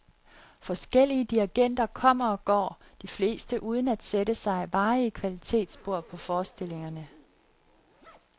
Forskellige dirigenter kommer og går, de fleste uden at sætte sig varige kvalitetsspor på forestillingerne.